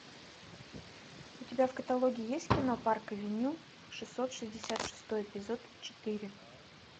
у тебя в каталоге есть кино парк авеню шестьсот шестьдесят шестой эпизод четыре